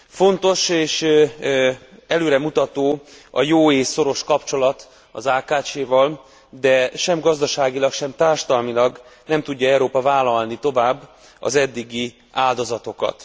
Fontos, és előremutató a jó és szoros kapcsolat az AKCS val, de sem gazdaságilag, sem társadalmilag nem tudja Európa vállalni tovább az eddigi áldozatokat.